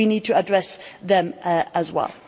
We need to address them as well.